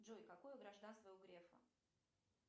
джой какое гражданство у грефа